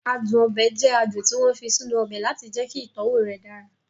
Adùn ọbẹ̀ jẹ adùn tí wọ́n fi sínú ọbẹ̀ láti jẹ́kí ìtọ́wọ̀ rẹ̀ dára